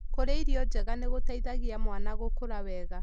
Kũrĩa irio njega nĩ gũteithagia mwana gũkũra wega.